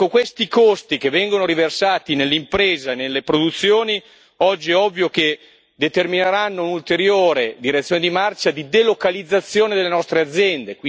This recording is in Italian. Questi costi che vengono riversati nell'impresa e nelle produzioni oggi è ovvio che determineranno un'ulteriore direzione di marcia e di delocalizzazione delle nostre aziende.